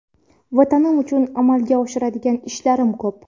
Vatanim uchun amalga oshiradigan ishlarim ko‘p.